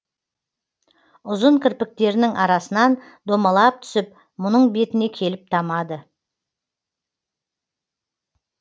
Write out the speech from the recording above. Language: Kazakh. ұзын кірпіктерінің арасынан домалап түсіп мұның бетіне келіп тамады